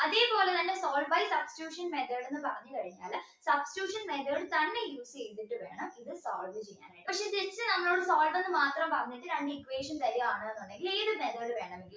അതേ പോലെ തന്നെ solve by substitution method എന്ന് പറഞ്ഞു കഴിഞ്ഞാല് substitution method തന്നെ use ചെയ്തിട്ടിടണം പക്ഷേ തിരിച്ച് നമ്മളോട് solve മാത്രാ പറഞ്ഞിട്ട് അതിന്ടെ equation തരുവാന് എന്നുണ്ടങ്കിൽ ഏത് segment വേണെമെങ്കിലും